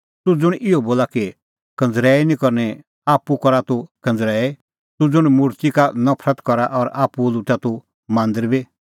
तूह ज़ुंण इहअ बोला कि कंज़रैई निं करनी आप्पू ई करा तूह कंज़रैई तूह ज़ुंण मुर्ति का नफरत करा और आप्पू लुटा तूह मांदरा बी